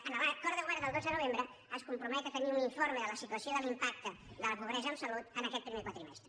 en l’acord de govern del dotze de novembre es compromet a tenir un informe de la situació de l’impacte de la pobresa en salut en aquest primer quadrimestre